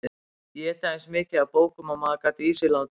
Éta eins mikið af bókum og maður gat í sig látið.